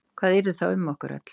Hvað yrði þá um okkur öll?